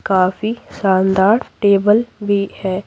काफी शानदार टेबल भी है।